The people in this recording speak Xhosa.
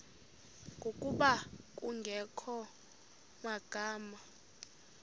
ngokuba kungekho magama